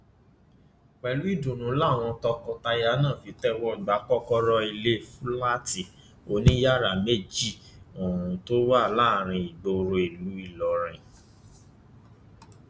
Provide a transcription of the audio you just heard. pẹlú ìdùnnú làwọn tọkọtaya náà fi tẹwọ gba kọkọrọ ilé fúláàtì oníyàrá méjì ohun tó wà láàrin ìgboro ìlú ìlọrin